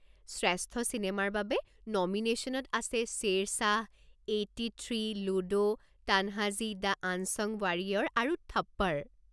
শ্ৰেষ্ঠ চিনেমাৰ বাবে নমিনেশ্যনত আছে Shershaah, eighty three, Ludo, Tanhaji the unsung warrior আৰু থপ্পড়।